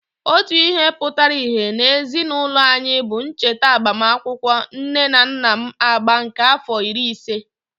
Otu ihe pụtara íhé n'ezinụlọ anyị bụ ncheta agbamakwụkwọ nne na nna m agba nke àfọ iri ise.